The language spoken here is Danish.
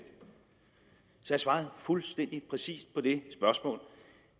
har svaret fuldstændig præcist på det spørgsmål